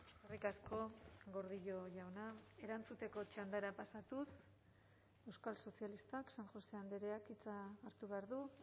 eskerrik asko gordillo jauna erantzuteko txandara pasatuz euskal sozialistak san josé andreak hitza hartu behar du